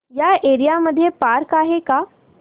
या एरिया मध्ये पार्क आहे का